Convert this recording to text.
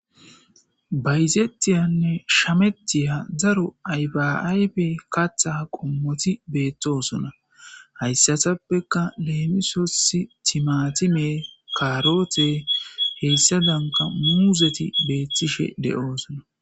Bayzeetiyanne shametiya daro ayfayfe katha qommoti beettosona. hayssatappeka leemisosi timatime kaarote heyssadanka muuzeti beettishe de'oosona.